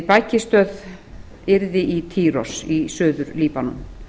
bækistöð yrði í týros í suður líbanon